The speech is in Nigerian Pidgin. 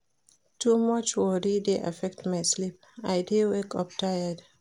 Too much worry dey affect my sleep, I dey wake up tired.